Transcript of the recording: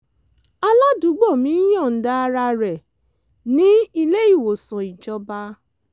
aládùúgbò mi ń yọ̀ǹda ara rẹ̀ ní ilé-ìwòsàn ìjọba